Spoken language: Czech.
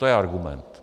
To je argument.